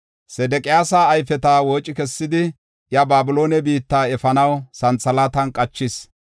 Sedeqiyaasa ayfeta wooci kessidi, iya Babiloone biitta efanaw santhalaatan qachis.